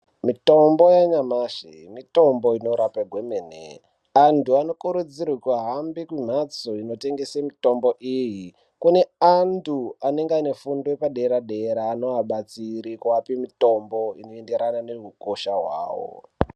Mitombo yanyamashi, mitombo inorapa kwemene. Antu anokurudzirwe kuhambe kumhatso inotengese mitombo iyi. Kune antu anenge aine fundo yepadera-dera anoabatsira kuape mitombo inoenderana neukosha hwawo.